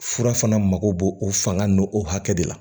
Fura fana mako bo o fanga n'o hakɛ de la